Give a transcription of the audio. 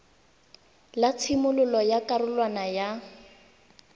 la tshimololo ya karolwana ya